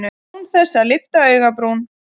Án þess að lyfta augabrún.